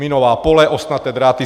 Minová pole, ostnaté dráty.